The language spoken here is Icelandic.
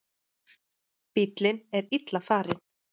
Bíllinn er illa farinn.